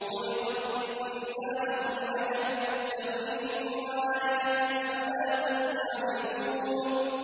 خُلِقَ الْإِنسَانُ مِنْ عَجَلٍ ۚ سَأُرِيكُمْ آيَاتِي فَلَا تَسْتَعْجِلُونِ